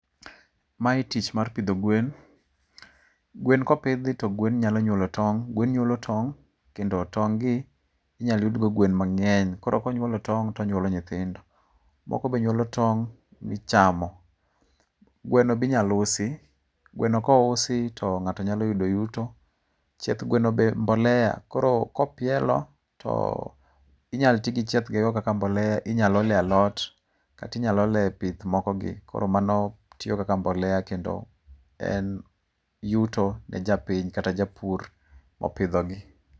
Mae tich mar pidho gwen. Gwen kopidhi to gwen nyalo nyuolo tong'. Gwen nyuolo tong' kendo tong' gi inyalo yudgo gwen mang'eny koro konyuolo tong', to onyuolo nyithindo. Moko be nyuolo tong' michamo. Gwen be inyalo usi. Gweno kousi to ng'ato nyalo yudo yuto. Chieth gweno be mbolea. Koro kopielo to inyalo ti gi chiethnego kaka mbolea. Inyalo olie alot, kata inyalo olie pith moko gi koro mano tiyo kaka mbolea kendo en yuto ne japiny kata japur mopidhogi.